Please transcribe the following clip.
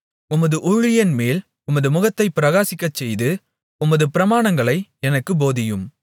உமது ஊழியன்மேல் உமது முகத்தைப் பிரகாசிக்கச்செய்து உமது பிரமாணங்களை எனக்குப் போதியும்